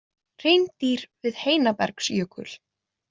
Hreindýr við Heinabergsjökul.